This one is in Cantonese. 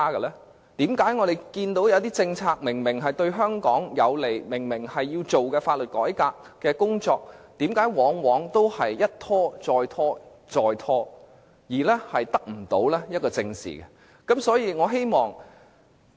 為何我們看到有些政策明顯對香港有利，以及一些必須進行的法律改革工作，卻往往一拖再拖，再三拖延，得不到正視呢？